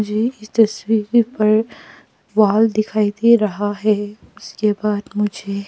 मुझे इस तस्वीर पर वाल दिखाई दे रहा है उसके बाद मुझे--